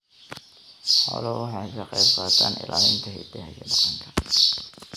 Xooluhu waxay ka qaybqaataan ilaalinta hiddaha iyo dhaqanka.